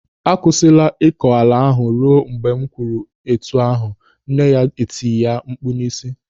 "Akwụsịla ịkọ ala ahụ ruo mgbe m kwuru etu ahụ, nne ya etie ya mkpu n'isi.